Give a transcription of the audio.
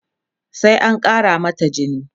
sai an Kara mata jini